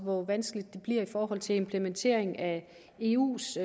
hvor vanskeligt det bliver i forhold til implementering af eus